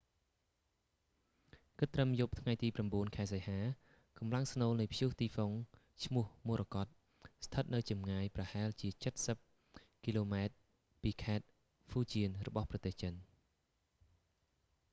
គិតត្រឹមយប់ថ្ងៃទី 9 សីហា កម្លាំងស្នូលនៃព្យុះទីហ្វុងឈ្មោះមរកត morakot ស្ថិតនៅចម្ងាយប្រហែលជាចិតសិបគីឡូម៉ែត្រពីខេត្តហ្វូជានរបស់ប្រទេសចិន